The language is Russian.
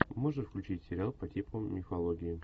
можешь включить сериал по типу мифологии